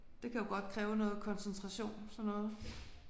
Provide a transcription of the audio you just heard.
Det kan jo godt kræve noget koncentration sådan noget